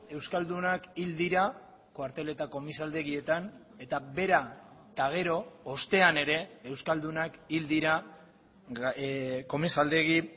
euskaldunak hil dira kuartel eta komisaldegietan eta bera eta gero ostean ere euskaldunak hil dira komisaldegi